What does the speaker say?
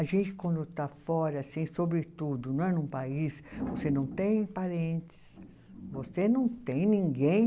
A gente, quando está fora, assim sobre tudo né, num país, você não tem parentes, você não tem ninguém.